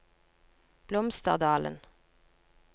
Blomsterdalen